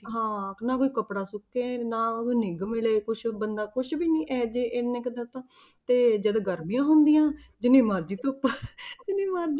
ਹਾਂ ਨਾ ਕੋਈ ਕੱਪੜਾ ਸੁੱਕੇ ਨਾ ਨਿੱਘ ਮਿਲੇ ਕੁਛ ਬੰਦਾ ਕੁਛ ਵੀ ਨੀ ਇਹ ਜੇ ਇੰਨੇ ਕੁ ਦਾ ਤਾਂ ਤੇ ਜਦੋਂ ਗਰਮੀਆਂ ਹੁੰਦੀਆਂ ਜਿੰਨੀ ਮਰਜ਼ੀ ਧੁੱਪ ਜਿੰਨੀ ਮਰਜ਼ੀ,